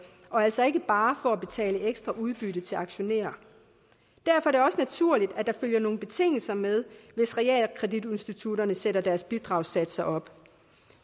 og altså ikke bare for at betale ekstra udbytte til aktionærer derfor er det også naturligt at der følger nogle betingelser med hvis realkreditinstitutterne sætter deres bidragssatser op